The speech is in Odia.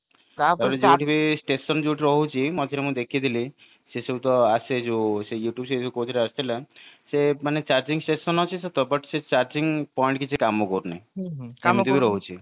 ଟା ପରେ station ଯୋଉ ରହୁଛି ମଝିରେ ମୁଁ ଦେଖିଥିଲି ସେ ସବୁ ତ ଆସେ ସେ ଯୋଉ କୋଉ ଥିରେ ଆସିଥିଲା ସେ ମାନେ charging station ଅଛି ସତ but ସେ charging point କିଛି କାମ କରୁନି ସେମିତି ବି ରହୁଛି